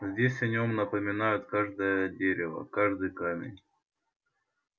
здесь о нём напоминают каждое дерево каждый камень